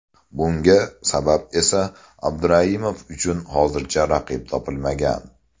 Bunga sabab esa Abduraimov uchun hozircha raqib topilmagan.